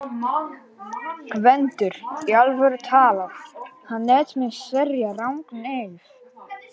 GVENDUR: Í alvöru talað: hann lét mig sverja rangan eið.